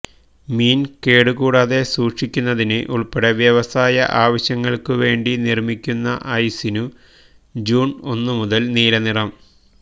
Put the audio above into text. മീൻ കേടുകൂടാതെ സുക്ഷിക്കുന്നതിന് ഉൾപ്പടെ വ്യവസായ ആവശ്യങ്ങൾക്കുവേണ്ടി നിർമിക്കുന്ന ഐസിനു ജൂൺ ഒന്നു മുതൽ നീലനിറം